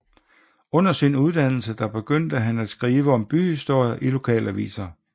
Under sin uddannelse der begyndte han at skrive om byhistorie i lokalaviser